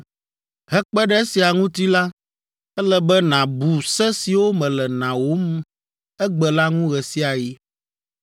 Hekpe ɖe esia ŋuti la, ele be nàbu se siwo mele nawòm egbe la ŋu ɣe sia ɣi.